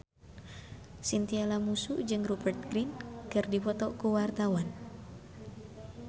Chintya Lamusu jeung Rupert Grin keur dipoto ku wartawan